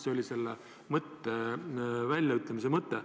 See oli selle väljaütlemise mõte.